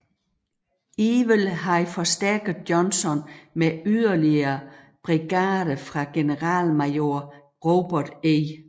Ewell havde forstærket Johnson med yderligere brigader fra generalmajor Robert E